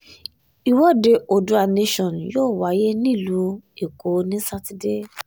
ìwọ́de oodua nation yóò wáyé nílùú èkó ní sátidé